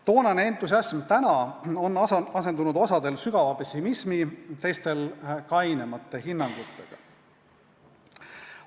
Toonane entusiasm on tänaseks asendunud ühtedel sügava pessimismi, teistel kainemate hinnangutega.